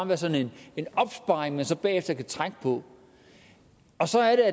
være sådan en opsparing man så bagefter kan trække på så er